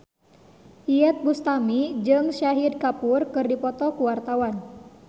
Iyeth Bustami jeung Shahid Kapoor keur dipoto ku wartawan